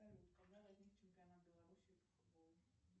салют когда возник чемпионат белоруссии по футболу